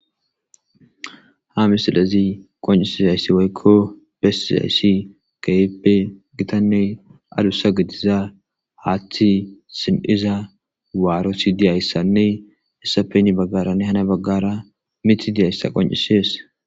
Ha misilezi qoncisizaysi woylo besizaysi keehippe gitanne adusa gidiza haathe si'iza waaroti dizaysanne hessappe heni bagaranne hani bagara mithi dizaysa qoncisees.